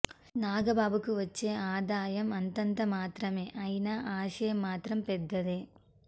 నాగబాబుకు వచ్చే ఆదాయం అంతంత మాత్రమే అయినా ఆశయం మాత్రం పెద్దదే